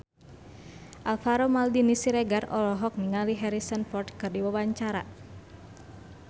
Alvaro Maldini Siregar olohok ningali Harrison Ford keur diwawancara